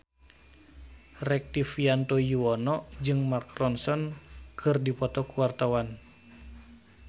Rektivianto Yoewono jeung Mark Ronson keur dipoto ku wartawan